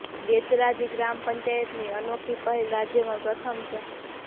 બેચરાજી ગ્રામ પંચાયત ની આ અનોખી પહેલ રાજ્યમાં પ્રથમ છે